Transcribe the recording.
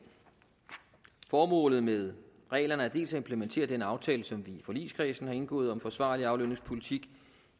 formålet med reglerne er dels at implementere den aftale som vi i forligskredsen har indgået om en forsvarlig aflønningspolitik